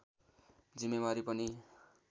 जिम्मेवारी पनि